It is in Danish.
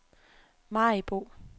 Maribo